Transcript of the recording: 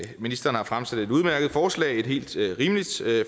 ministeren har fremsat et udmærket forslag et helt rimeligt